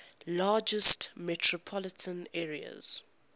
largest metropolitan areas